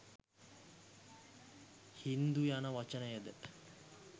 හින්දු යන වචනයද